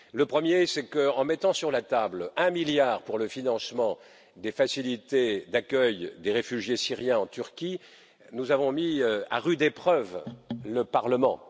Le premier, c'est qu'en mettant sur la table un milliard pour le financement de la facilité en faveur des réfugiés syriens en Turquie, nous avons mis à rude épreuve le Parlement.